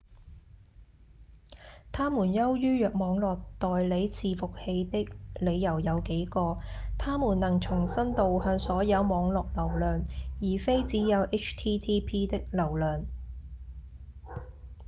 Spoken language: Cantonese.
它們優於網路代理伺服器的理由有幾個：它們能重新導向所有網路流量而非只有 http 的流量